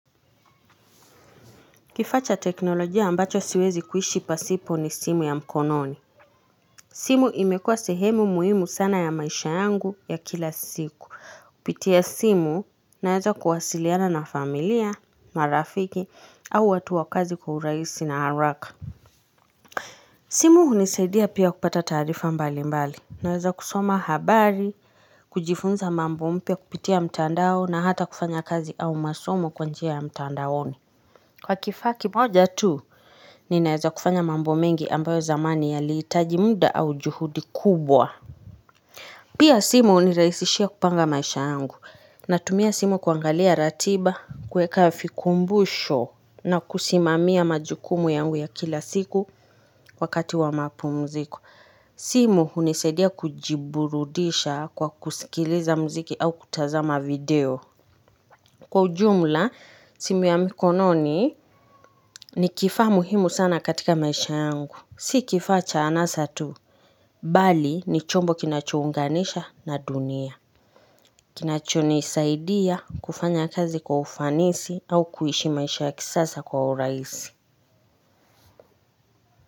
Kifaa cha teknolojia ambacho siwezi kuishi pasipo ni simu ya mkononi. Simu imekua sehemu muhimu sana ya maisha yangu ya kila siku. Kupitia simu naeza kuwasiliana na familia, marafiki au watu wa kazi kwa urahisi na haraka. Simu hunisaidia pia kupata taarifa mbali mbali. Naeza kusoma habari, kujifunza mambo mpya kupitia mtandao na hata kufanya kazi au masomo kwa njia ya mtandaoni. Kwa kifaa kimoja tu, ninaeza kufanya mambo mengi ambayo zamani yalihitaji muda au juhudi kubwa. Pia simu hunirahisishia kupanga maisha yangu. Natumia simu kuangalia ratiba, kueka vikumbusho na kusimamia majukumu yangu ya kila siku wakati wa mapumziko. Simu hunisaidia kujiburudisha kwa kusikiliza muziki au kutazama video. Kwa ujumla, simu ya mikononi ni kifaa muhimu sana katika maisha yangu. Si kifaa cha anasa tu, bali ni chombo kinachuunganisha na dunia. Kinachonisaidia kufanya kazi kwa ufanisi au kuishi maisha ya kisasa kwa urahisi.